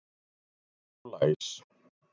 Lok, lok og læs.